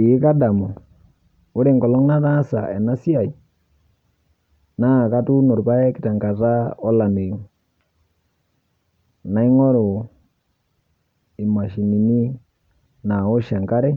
Eeh kadamu, ore enkolong' nataasa enasiai naa katuuno irpaek tenkata olameyu. Naing'oru imashinini naaosh enkare